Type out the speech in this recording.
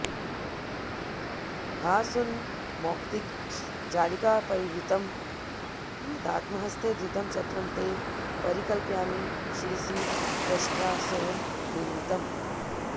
भास्वन्मौक्तिकजालिकापरिवृतं प्रीत्यात्महस्ते धृतं छत्रं ते परिकल्पयामि शिरसि त्वष्ट्रा स्वयं निर्मितम्